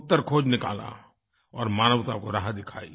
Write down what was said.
उत्तर खोज़ निकाला और मानवता को राह दिखाई